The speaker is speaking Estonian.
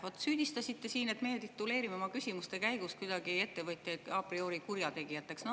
Vot süüdistasite siin, et meie tituleerime oma küsimuste käigus kuidagi ettevõtjaid a priori kurjategijateks.